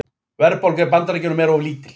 Verðbólga í Bandaríkjunum of lítil